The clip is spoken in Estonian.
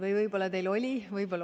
Või võib-olla teil oli?